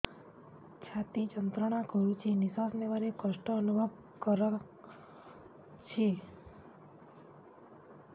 ଛାତି ଯନ୍ତ୍ରଣା କରୁଛି ନିଶ୍ୱାସ ନେବାରେ କଷ୍ଟ ଅନୁଭବ କରୁଛି